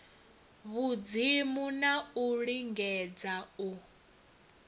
vhudzimu na u lingedza u